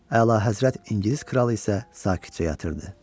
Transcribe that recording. Əlahəzrət İngilis kralı isə sakitcə yatırdı.